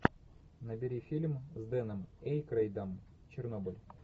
набери фильм с дэном эйкройдом чернобыль